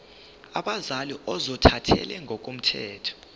abazali ozothathele ngokomthetho